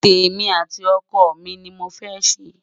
témi àti ọkọ mí ní mọ fé ṣé